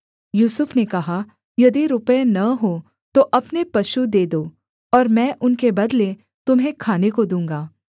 यूसुफ ने कहा यदि रुपये न हों तो अपने पशु दे दो और मैं उनके बदले तुम्हें खाने को दूँगा